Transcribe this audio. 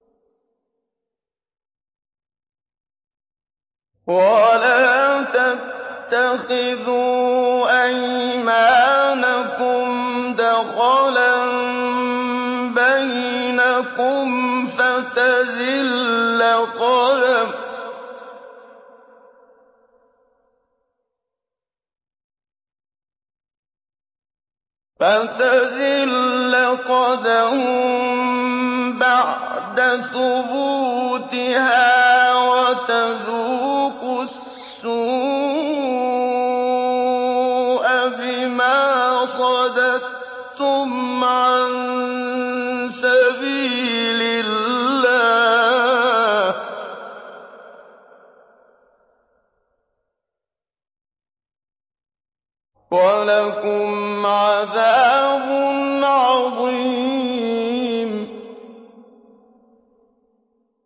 وَلَا تَتَّخِذُوا أَيْمَانَكُمْ دَخَلًا بَيْنَكُمْ فَتَزِلَّ قَدَمٌ بَعْدَ ثُبُوتِهَا وَتَذُوقُوا السُّوءَ بِمَا صَدَدتُّمْ عَن سَبِيلِ اللَّهِ ۖ وَلَكُمْ عَذَابٌ عَظِيمٌ